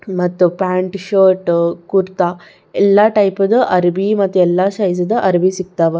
ಮತ್ತ್ pant shirt kurta ಎಲ್ಲಾ type ಅದ್ ಅರಬಿ ಮತ್ತ್ ಎಲ್ಲಾ ಸೈಜ್ ಅದ್ ಅರಬಿ ಸಿಗತ್ತವ್.